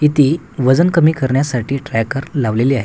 इथे वजन कमी करण्यासाठी ट्रॅकर लावलेले आहे.